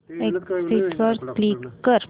exit वर click कर